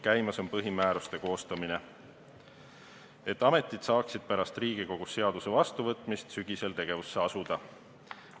Käimas on põhimääruste koostamine, et ametid saaksid pärast Riigikogus seaduse vastuvõtmist sügisel tegevusse asuda.